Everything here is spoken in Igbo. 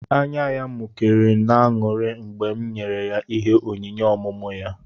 Ányá ya mụkéré n'aṅụrị mgbe m nyèrè ya ịhé onyinye ọmụmụ ya